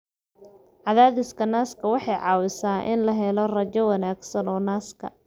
Cadaadiska naaska waxay caawisaa in la helo raajo wanaagsan oo naaska.